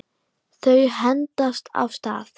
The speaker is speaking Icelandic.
Þau hendast af stað.